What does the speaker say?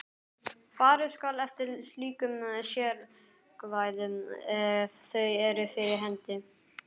Farið skal eftir slíkum sérákvæðum ef þau eru fyrir hendi.